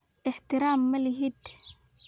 Ixtiraam ma lihid.